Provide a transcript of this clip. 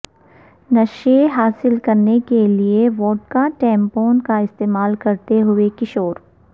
نشے حاصل کرنے کے لئے وڈکا ٹیمپون کا استعمال کرتے ہوئے کشور